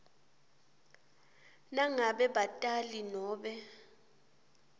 nangabe batali nobe